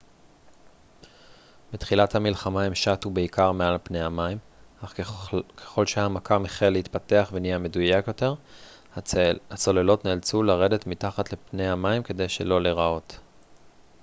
בתחילת המלחמה הן שטו בעיקר מעל פני המים אך ככל שהמכ ם החל להתפתח ונהיה מדויק יותר הצוללות נאלצו לרדת מתחת לפני המים כדי שלא להיראות